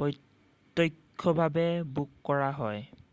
প্ৰত্যক্ষভাৱে বুক কৰা হয়